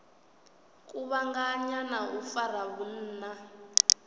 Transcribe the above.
kuvhanganya na u fara vhunna